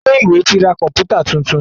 Ilé ìwé ti ra Pátákó ìkọ̀wé funfun títún.